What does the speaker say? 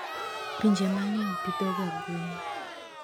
Pinje mang'eny pidhoga gwen.